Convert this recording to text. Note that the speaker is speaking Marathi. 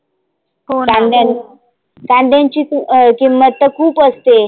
काद्यांची किंमत तर खुप असते.